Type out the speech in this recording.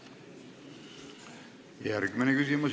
Järgmine küsimus.